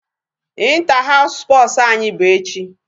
Inter house sports anyị bụ echi.